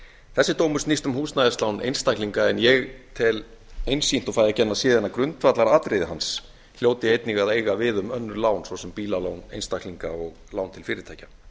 þessi dómur snýst um húsnæðislán einstaklinga en ég tel einsýnt og það ekki nema síðan grundvallaratriði hans hljóti einnig að eiga við um önnur lán svo sem bílalán einstaklinga og lán til fyrirtækja